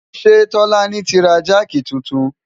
ṣé tọ́lání ti ra jáàkì titun?